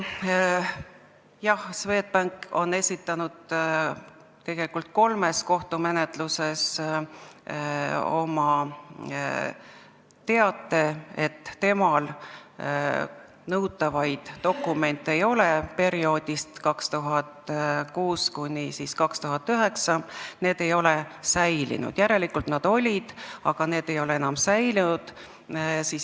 Jah, Swedbank on esitanud kolmes kohtumenetluses teate, et temal nõutavaid dokumente perioodist 2006–2009 ei ole, need ei ole säilinud, tähendab, need olid, aga need ei ole säilinud.